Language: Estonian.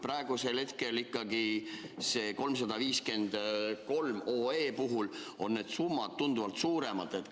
Praegu on otsuse eelnõu 353 puhul need summad tunduvalt suuremad.